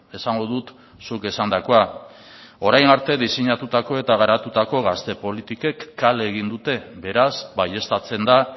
esango dut zuk esandakoa orain arte diseinatutako eta garatutako gazte politikek kale egin dute beraz baieztatzen da